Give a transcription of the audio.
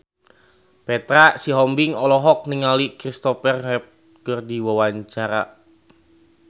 Petra Sihombing olohok ningali Christopher Reeve keur diwawancara